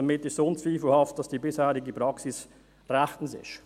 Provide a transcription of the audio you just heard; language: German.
Damit ist unzweifelhaft, dass die bisherige Praxis rechtens ist.